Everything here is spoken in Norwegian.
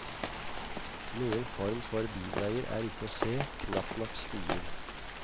Noen form for bilveier er ikke å se, knapt nok stier.